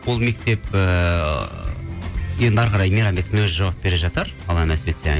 ол мектеп ыыы енді әрі қарай мейрамбектің өзі жауап бере жатар алла нәсіп етсе